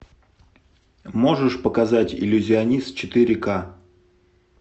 можешь показать иллюзионист четыре к